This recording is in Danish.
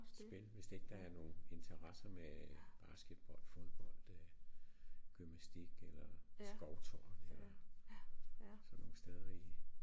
Spil hvis ikke der er nogen interesser med basketbold fodbold øh gymnastik eller skovtur eller sådan nogle steder i